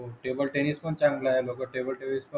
हो